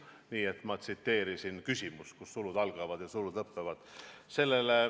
Nii et ma tsiteerisin küsimust, kus sulud algavad ja sulud lõppevad.